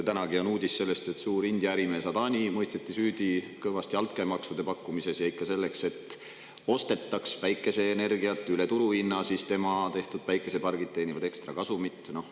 Tänanegi uudis räägib sellest, et suur India ärimees Adani mõisteti süüdi altkäemaksu pakkumises, ikka selleks, et päikeseenergiat ostetaks üle turuhinna ja tema tehtud päikesepargid teeniksid ekstrakasumit.